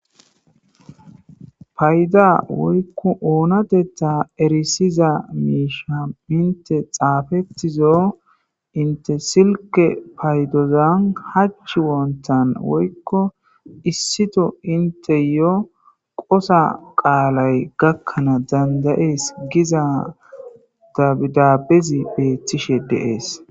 payda woykko oonatetta erisiza miisha inte xaafettizo inte silke paydozan hach wontan woykko issito inte yo qosa qaalay gakkanaa dandayees giza dabidabezi beeththishe deees